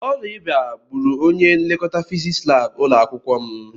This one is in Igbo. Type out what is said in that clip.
Ọrịa ịba gbúrù ọnye nlekọta fiziks lab ụlọakwụkwọ m.